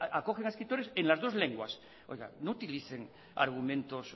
acogen a escritores en las dos lenguas no utilicen argumentos